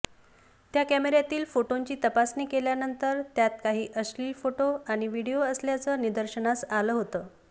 त्या कॅमेऱ्यातील फोटोंची तपासणी केल्यानंतर त्यात काही अश्लील फोटो आणि व्हिडीओ असल्याचं निदर्शनास आलं होतं